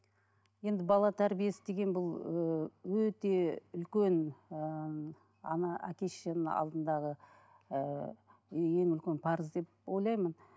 енді бала тәрбиесі деген бұл ііі өте үлкен ііі ана әке шешенің алдындағы ыыы ең үлкен парыз деп ойлаймын